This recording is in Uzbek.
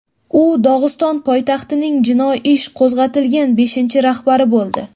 U Dog‘iston poytaxtining jinoiy ish qo‘zg‘atilgan beshinchi rahbari bo‘ldi.